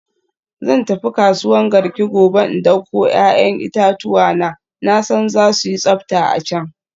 Zan tafi kasuwan Garki gobe in dauko 'ya'yan itatuwa na, na san za su yi tsafta a can.